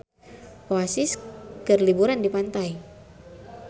Oasis keur liburan di pantai